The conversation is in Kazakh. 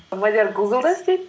мадиар гуглда істейді